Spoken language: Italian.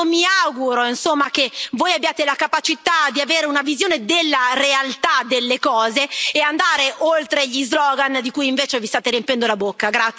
Io mi auguro che voi abbiate la capacità di avere una visione della realtà delle cose e di andare oltre gli slogan di cui invece vi state riempiendo la bocca.